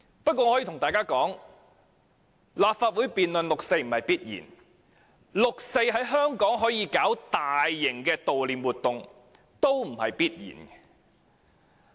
我告訴大家，立法會能夠辯論六四不是必然的，香港可以舉行大型的悼念六四活動也不是必然的。